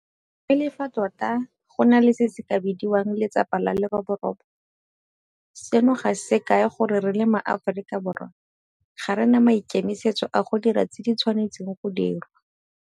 Mme le fa tota go na le se se ka bidiwang 'letsapa la leroborobo', seno ga se kae gore re le maAforika Borwa ga re na maikemisetso a go dira tse di tshwanetseng go dirwa.